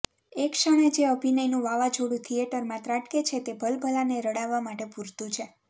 એ ક્ષણે જે અભિનયનું વાવોઝોડુ થીએટરમાં ત્રાટકે છે તે ભલભલાને રડાવવા માટે પુરતુ છે